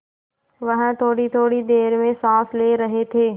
वह थोड़ीथोड़ी देर में साँस ले रहे थे